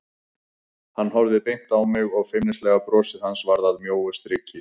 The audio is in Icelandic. Hann horfði beint á mig og feimnislega brosið hans varð að mjóu striki.